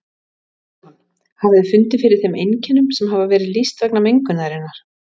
Jóhann: Hafið þið fundið fyrir þeim einkennum sem hafa verið lýst vegna mengunarinnar?